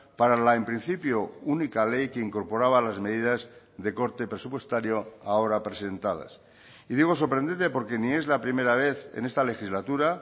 para la en principio única ley que incorporaba las medidas de corte presupuestario ahora presentadas y digo sorprendente porque ni es la primera vez en esta legislatura